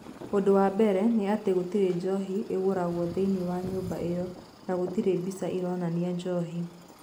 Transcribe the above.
Ũndũ wa mbere nĩ atĩ, gũtirĩ njohi ĩgũragwo thĩinĩ wa nyũmba ĩyo, na gũtirĩ mbica ironania njohi.